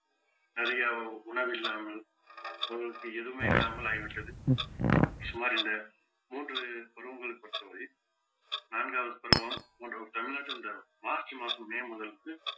நிறைய உணவில்லாமல் அவர்களுக்கு எதுவுமே இல்லாமல் ஆகிவிட்டது சுமார் இந்த மூன்று பருவங்களை பொறுத்தவரை நான்காவது பருவம் போன்ற ஒரு தமிழ்நாட்டில் இந்த மார்ச் மாசம் மே மாதங்களுக்கு